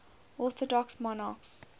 orthodox monarchs